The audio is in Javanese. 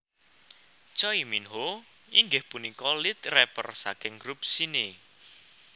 Choi Minho inggih punika lead rapper saking group Shinee